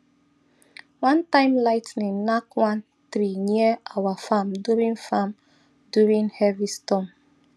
one time lightning knack one tree near our farm during farm during heavy storm